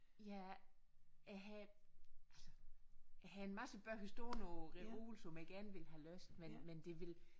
Ja jeg havde altså jeg havde en masse bøger stående på reolen som jeg gerne ville have læst men men det ville